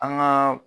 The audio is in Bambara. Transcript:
An ka